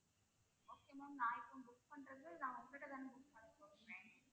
okay ma'am நான் இப்போ book பண்றது நான் உங்க கிட்ட தானே book பண்ணப்போறேன்